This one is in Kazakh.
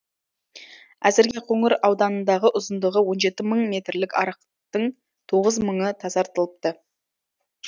әзірге байқоңыр ауданындағы ұзындығы он жеті мың метрлік арықтың тоғыз мыңы тазартылыпты